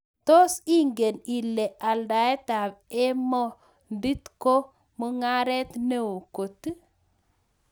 Tos ingen ilee aldaet ap emondiit ko mungaret neo koot?